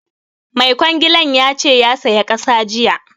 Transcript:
Mai kwangilan ya ce ya saya ƙasa jiya